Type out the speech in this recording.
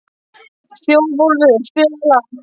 Þjóðólfur, spilaðu lag.